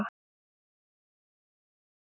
Bíða þess að vitleysan gengi yfir.